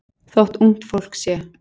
Þótt ungt fólk sé